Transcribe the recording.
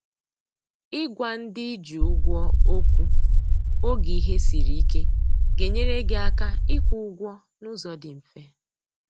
i gwa ndị ị ji ụgwọ okwu oge ihe siri ike ga enyere gị aka ị kwụ ụgwọ na ụzọ dị mfe